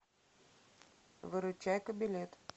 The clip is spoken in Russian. выручайка билет